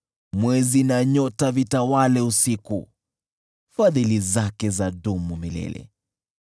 Mwezi na nyota vitawale usiku, Fadhili zake zadumu milele .